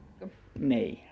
nei